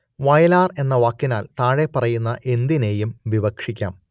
വയലാർ എന്ന വാക്കിനാൽ താഴെപ്പറയുന്ന എന്തിനേയും വിവക്ഷിക്കാം